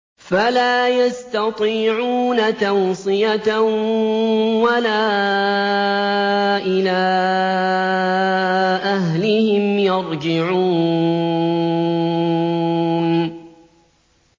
فَلَا يَسْتَطِيعُونَ تَوْصِيَةً وَلَا إِلَىٰ أَهْلِهِمْ يَرْجِعُونَ